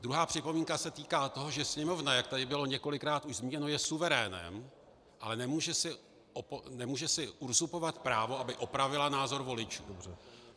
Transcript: Druhá připomínka se týká toho, že Sněmovna, jak tady bylo několikrát už zmíněno, je suverénem, ale nemůže si uzurpovat právo, aby opravila názor voličů.